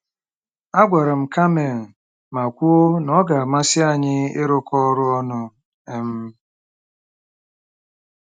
Agwara m Carmen ma kwuo na ọ ga-amasị anyị ịrụkọ ọrụ ọnụ. um